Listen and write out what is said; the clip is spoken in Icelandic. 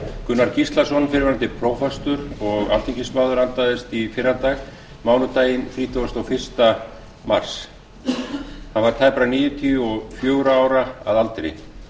gunnar gíslason fyrrverandi prófastur og alþingismaður andaðist í fyrradag mánudaginn þrítugasta og fyrsta mars hann var tæpra níutíu og fjögurra ára að aldri